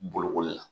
Bolokoli la